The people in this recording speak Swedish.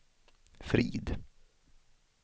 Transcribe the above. Frid